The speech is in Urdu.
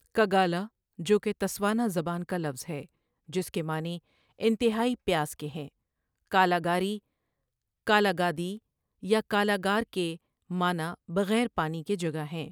کگالا جو کہ تسوانا زبان کا لفظ ہے جس کے معنی انتہای پیاس کے ہیں کالاگاری کالاگادی یا کالاگار کے معنی بغیر پانی کے جگہ ہیں